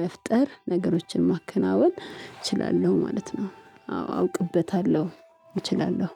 መፍጠር ነገሮችን ማከናወን እችላለሁ ማለት ነው። አዎ አውቅበታለሁ እችላለሁ